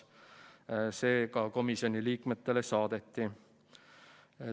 See ka komisjoni liikmetele saadeti.